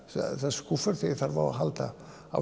skúffur þegar ég þarf á að halda